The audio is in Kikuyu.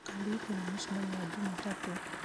ũkandirikania mũcemanio wa jumatatũ